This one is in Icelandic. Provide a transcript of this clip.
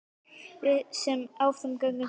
Við sem áfram göngum söknum.